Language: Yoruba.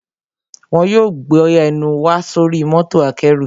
Wọn yóò gbé ẹnù wa sóri mọ́tò akẹ́rù